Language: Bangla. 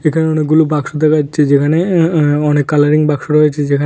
এখানে অনেকগুলো বাক্স দেখা যাচ্ছে যেখানে অ্যা অ্যা অনেক কালারিং বাক্স রয়েছে যেখানে--